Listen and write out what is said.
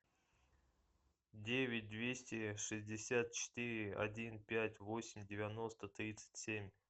девять двести шестьдесят четыре один пять восемь девяносто тридцать семь